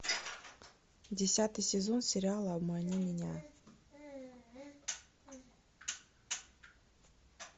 десятый сезон сериала обмани меня